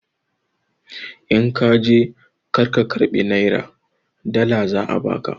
In ka je kar ka karɓi nera, dala za a ba ka!